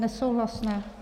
Nesouhlasné.